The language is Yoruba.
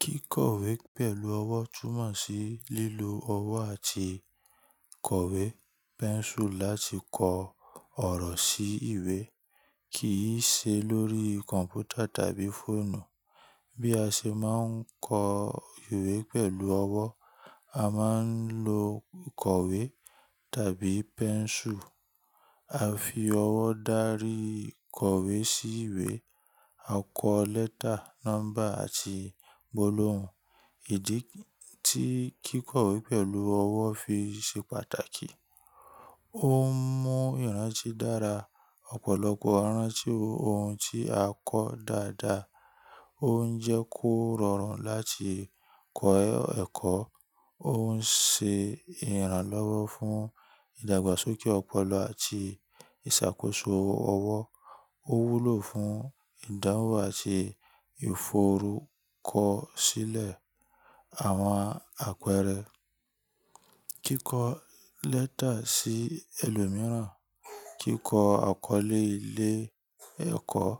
Kíkọ̀wé pẹ̀lú ọwọ́ túnmọ̀ sí lílo ọwọ́ àti kọ̀wé, pẹ́ńsù láti kọ ọ̀rọ̀ sí ìwé, kì í ṣe lórí kọ̀m̀pútà tàbí fóònù. Bí a ṣe máa ń kọ ìwé pẹ̀lú ọwọ́, a máa ń lo onkọ̀wé tàbí pẹ́ńsù. A fi ọwọ́ darí kọ̀wé sí ìwé. A kọ lẹ́tà, nọ́mbà àti gbólóhùn. Ìdí tí kíkọ̀wé pẹ̀lú ọwọ́ fi ṣe pàtàkì, ó ń mú ìrántí dára, ọ̀pọ̀lọpọ̀ rántí ohun tí a kọ dáadáa. Ó ń jẹ́ kó rọrùn láti kọ ẹ̀kọ́. Ó ń ṣe ìrànlọ́wọ́ fún ìdàgbàsókè ọpọlọ àti ìṣàkóso ọwọ́. Ó wúlò fún ìdáhùn àti ìforúkọsílẹ̀ àwọn àpẹẹrẹ kíkọ lẹ́tà sí ẹlòmíràn, kíkọ àkọlé ilé ẹ̀kọ́,